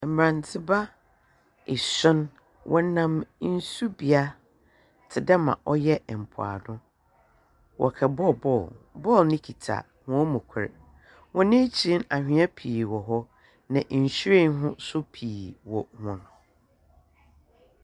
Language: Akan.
Mberantseba esuon, wɔnam nsu bea tse dɛ ma ɔyɛ mpoano. Wɔkɔbɔ bɔɔl, bɔɔl no kitsa hɔn mu kor. Hɔn ekyir no, anhwea pii wɔ hɔ, na nhyiren ho so pii wɔ hɔn .